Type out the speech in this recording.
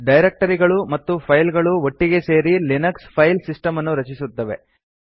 ಡೈರಕ್ಟರಿಗಳು ಮತ್ತು ಫೈಲ್ ಗಳು ಒಟ್ಟಿಗೆ ಸೇರಿ ಲಿನಕ್ಸ್ ಫೈಲ್ ಸಿಸ್ಟಮ್ ಅನ್ನು ರಚಿಸುತ್ತವೆ